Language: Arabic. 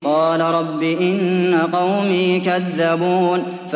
قَالَ رَبِّ إِنَّ قَوْمِي كَذَّبُونِ